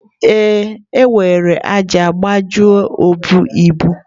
Ee, o were ájá gbajuo obu ibu.